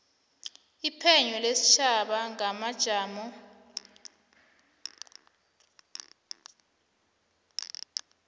iphenyo lesitjhaba ngamajamo